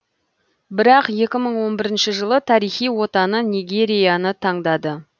бірақ екі мың он бірінші жылы тарихи отаны нигерияны таңдады